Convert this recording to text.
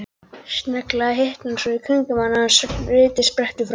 Snögglega hitnar svo í kringum hana að sviti sprettur fram.